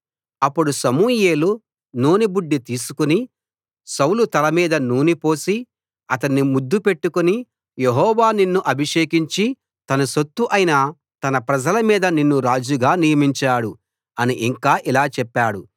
అప్పుడు సమూయేలు నూనె బుడ్డి తీసుకు సౌలు తల మీద నూనె పోసి అతణ్ణి ముద్దు పెట్టుకుని యెహోవా నిన్ను అభిషేకించి తన సొత్తు అయిన తన ప్రజల మీద నిన్ను రాజుగా నియమించాడు అని ఇంకా ఇలా చెప్పాడు